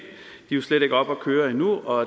det er slet ikke oppe at køre endnu og